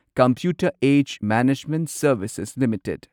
computer edge management services limited